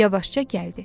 Yavaşca gəldi.